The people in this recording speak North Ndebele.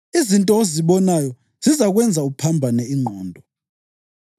Izinto ozibonayo zizakwenza uphambane ingqondo.